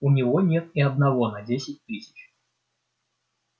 у него нет и одного на десять тысяч